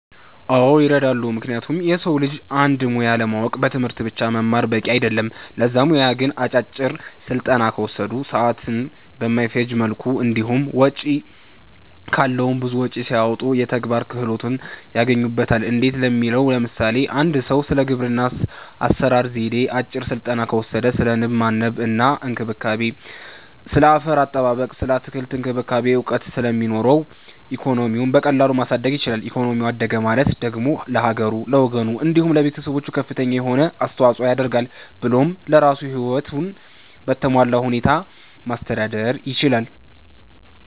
አዎ ይረዳሉ ምክንያቱም የሰዉ ልጆች አንድን ሙያ ለማወቅ በትምህርት ብቻ መማር በቂ አይደለም ለዛ ሙያ ግን አጫጭር ስልጠና ከወሰዱ፣ ሰዓትን በማይፈጅ መልኩ እንዲሁም ወጪ ካለዉም ብዙ ወጪም ሳያወጡ የተግባር ክህሎትን ያገኙበታል እንዴት ለሚለዉ ለምሳሌ፦ አንድ ሰዉ ስለ ግብርና አሰራር ዜዴ አጭር ስልጠና ከወሰደ ስለ ንብ ማነብ እና እንክብካቤ፣ ስለ አፈር አጠባበቅ ስለ አትክልት እክንክብካቤ እዉቀት ስለሚኖረዉ ኢኮኖሚዉን በቀላሉ ማሳደግ ይችላል ኢኮኖሚው አደገ ማለት ደግሞ ለሀገሩ፣ ለወገኑ፣ እንዲሁም ለቤተሰቦቹ ከፍተኛ የሆነ አስተዋፅኦ ያደርጋል ብሎም ለራሱም ህይወቱን በተሟላ ሁኔታ ማስተዳደር ይችላል።